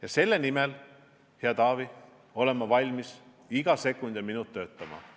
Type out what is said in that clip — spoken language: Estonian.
Ja selle nimel, hea Taavi, olen ma valmis iga sekund ja iga minut töötama.